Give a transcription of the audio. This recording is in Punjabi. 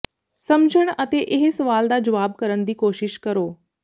ਸਮਝਣ ਅਤੇ ਇਹ ਸਵਾਲ ਦਾ ਜਵਾਬ ਕਰਨ ਦੀ ਕੋਸ਼ਿਸ਼ ਕਰੋ